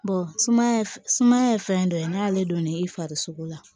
sumaya f sumaya ye fɛn dɔ ye n'ale donn'i fari sogo la